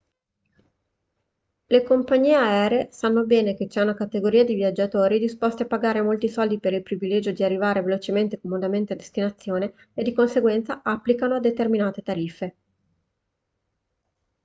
le compagnie aeree sanno bene che c'è una categoria di viaggiatori disposti a pagare molti soldi per il privilegio di arrivare velocemente e comodamente a destinazione e di conseguenza applicano determinate tariffe